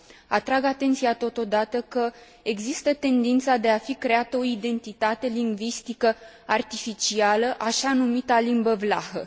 Atrag atenția totodată că există tendința de a fi creată o identitate lingvistică artificială, așa numita limbă vlahă.